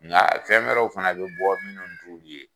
Nka fɛn wɛrɛw fana bɛ bɔ minnu t'u ye